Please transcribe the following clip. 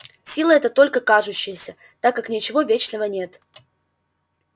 сила эта только кажущаяся так как ничего вечного нет